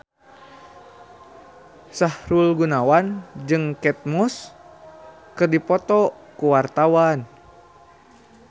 Sahrul Gunawan jeung Kate Moss keur dipoto ku wartawan